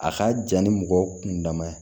A ka jan ni mɔgɔ kundama ye